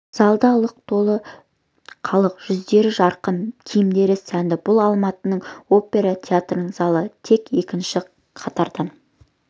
залда лық толы халық жүздері жарқын киімдері сәнді бұл алматының опера театрының залы тек екінші қатардан